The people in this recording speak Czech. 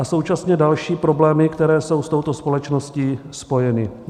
A současně další problémy, které jsou s touto společností spojeny.